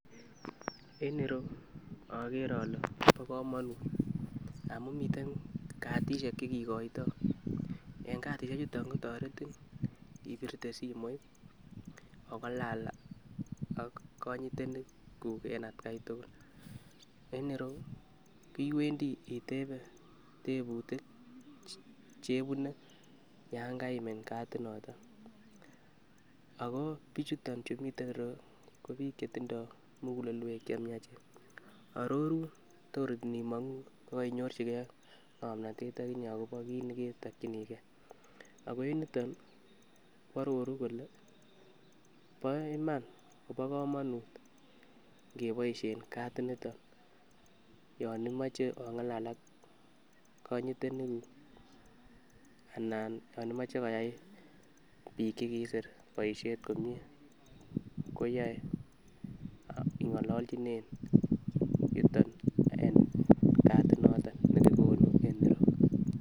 En ireyuu okere ole bo komonut amun miten katishek chekikoito en katishek chuton kotoretin ibirte simoit ongalal ak konyitenik kuuk en atgai tukul en ireyuu iwendii itebe tebutik chebune yon kaiimin katit noton ako bichuton chu miten ireyuu ko bik chetindoi mukulelwek chemiachen arorun tor inimonguu ko koinyorchigee akinyee akobo kit neketokinii gee ako en yuton nii ko ororu kole bo iman kobo komonut ikeboishen katit niton yon imoche ongalal ak konyitenik kuuk anan yon imoche koyai bik chekiisir boishet komie koyoe ingololjinen yuton en katit nekikonu en ireyuu.